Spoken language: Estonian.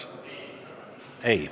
Ei.